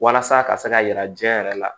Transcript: Walasa a ka se ka yira diɲɛ yɛrɛ la